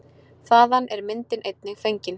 Þaðan er myndin einnig fengin.